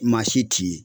Maa si t'i ye